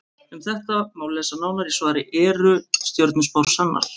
Um þetta má lesa nánar í svari Eru stjörnuspár sannar?